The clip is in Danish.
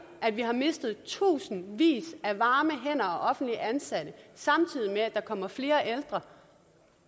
at vi har mistet tusindvis af varme hænder og offentligt ansatte samtidig med at der kommer flere ældre